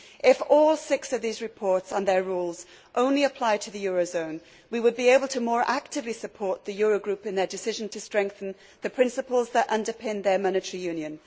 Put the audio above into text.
If all six of these reports and their rules only apply to the euro zone, we would be able to more actively support the Euro Group in their decision to strengthen the principles that underpin their monetary union.